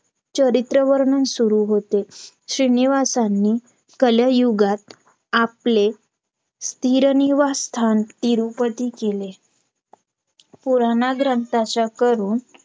चरित्र वर्णन सुरु होते श्रीनिवासानी कलयुगात आपले स्थिरनिवास स्थान तिरुपती केले पुराणात ग्रंथाच्याकडून